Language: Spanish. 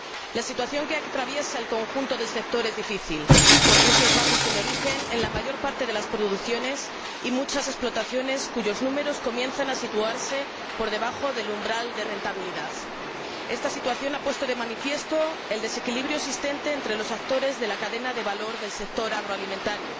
La situación que atraviesa el conjunto del sector es difícil con precios bajos en origen en la mayor parte de las producciones y muchas explotaciones cuyos números comienzan a situarse por debajo del umbral de rentabilidad. Esta situación ha puesto de manifiesto el desequilibrio existente entre los actores de la cadena de valor del sector agroalimentario